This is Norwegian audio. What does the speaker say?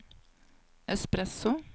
espresso